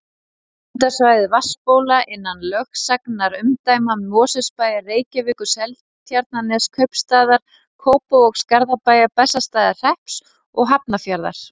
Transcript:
Verndarsvæði vatnsbóla innan lögsagnarumdæma Mosfellsbæjar, Reykjavíkur, Seltjarnarneskaupstaðar, Kópavogs, Garðabæjar, Bessastaðahrepps og Hafnarfjarðar.